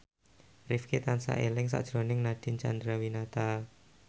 Rifqi tansah eling sakjroning Nadine Chandrawinata